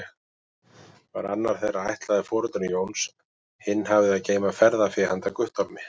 Var annar þeirra ætlaður foreldrum Jóns, hinn hafði að geyma ferðafé handa Guttormi.